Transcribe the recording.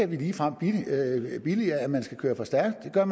vi ligefrem billiger at man kører for stærkt det gør